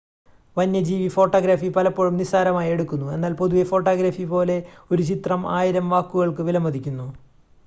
വന്യജീവി ഫോട്ടോഗ്രാഫി പലപ്പോഴും നിസ്സാരമായി എടുക്കുന്നു എന്നാൽ പൊതുവെ ഫോട്ടോഗ്രാഫി പോലെ ഒരു ചിത്രം ആയിരം വാക്കുകൾക്ക് വിലമതിക്കുന്നു